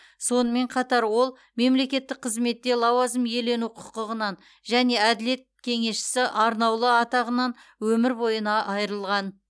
сонымен қатар ол мемлекеттік қызметте лауазым иелену құқығынан және әділет кеңесшісі арнаулы атағынан өмір бойына айырылған